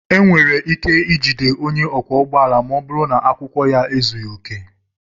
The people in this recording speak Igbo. E nwere ike ijide onye ọkwọ ụgbọala ma ọ bụrụ na akwụkwọ ya ezughị oke.